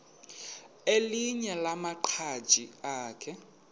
elinye lamaqhaji akhe